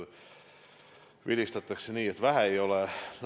Vilistati nii, et vähe ei ole.